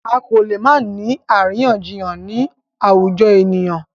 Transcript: A kò lè má ni àríyànjiyàn ni àwùjọ ènìyàn.